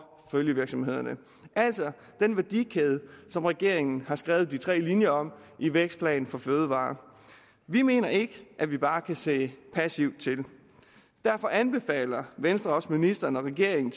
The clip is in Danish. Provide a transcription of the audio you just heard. følgevirksomhederne altså den værdikæde som regeringen har skrevet de tre linjer om i vækstplan for fødevarer vi mener ikke at vi bare kan se passivt til derfor anbefaler venstre også ministeren og regeringen